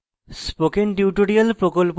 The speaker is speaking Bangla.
spoken tutorial প্রকল্প the